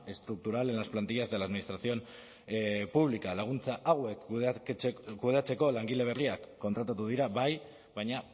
estructural en las plantillas de la administración pública laguntza hauek kudeatzeko langile berriak kontratatu dira bai baina